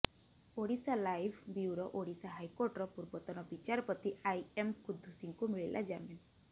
Odisha live bureau Odisha ହାଇକୋର୍ଟର ପୂର୍ବତନ ବିଚାରପତି ଆଇ ଏମ୍ କୁଦ୍ଦୁସିଙ୍କୁ ମିଳିଲା ଜାମିନ୍